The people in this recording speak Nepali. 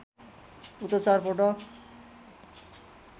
उता चार पटक